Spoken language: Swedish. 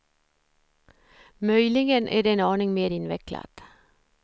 Möjligen är det en aning mer invecklat.